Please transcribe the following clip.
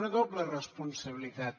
una doble responsabilitat